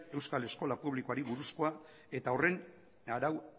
euskal eskola publikoari buruzkoa eta horren arau